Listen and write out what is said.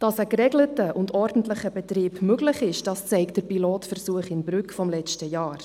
Dass ein geregelter und ordentlicher Betrieb möglich ist, zeigt der Pilotversuch in Brügg von letztem Jahr.